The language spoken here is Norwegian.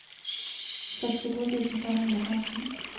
sekstito tusen fem hundre og femten